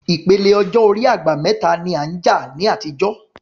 Ìpele ọjọ́ orí "àgbà mẹ́ta" ń làjà ní àtijọ́